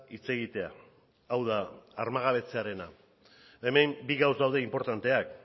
hitz egitea hau da armagabetzearena hemen bi gauza daude inportanteak